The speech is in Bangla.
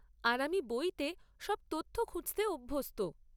আর আমি বইতে সব তথ্য খুঁজতে অভ্যস্ত।